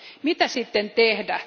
Mitä sitten tehdä?